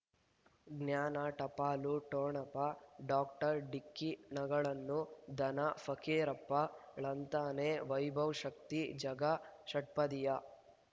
ಜ್ಞಾನ ಟಪಾಲು ಠೊಣಪ ಡಾಕ್ಟರ್ ಢಿಕ್ಕಿ ಣಗಳನು ಧನ ಫಕೀರಪ್ಪ ಳಂತಾನೆ ವೈಭವ್ ಶಕ್ತಿ ಝಗಾ ಷಟ್ಪದಿಯ